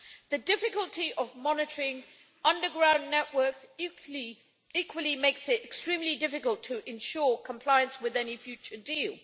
The difficulty of monitoring underground networks, equally, makes it extremely difficult to ensure compliance with any future deal.